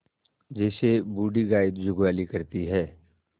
जैसे बूढ़ी गाय जुगाली करती है